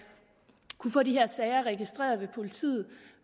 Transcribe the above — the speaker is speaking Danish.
kunne få de her sager registreret ved politiet